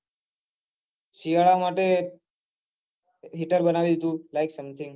શિયાળા માટે હીટર બનાવી દીઘું like sunset